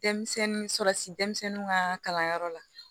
Denmisɛnnin sɔrɔsi denmisɛnw ka kalanyɔrɔ la